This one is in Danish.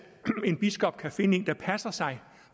en biskop kan finde en der passer sig